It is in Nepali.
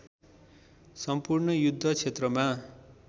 सम्पूर्ण युद्ध क्षेत्रमा